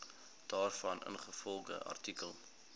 daarvan ingevolge artikel